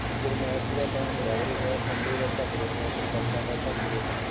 ਗਰਮੈਸ਼ ਦਾ time ਵੱਧ ਰਿਹਾ ਠੰਡ ਦਾ ਘੱਟ ਰਿਹਾ ਬਰਸਾਤਾ ਦਾ ਘੱਟ ਰਿਹਾ